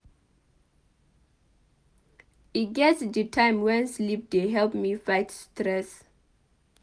E get di time wen sleep dey help me fight stress.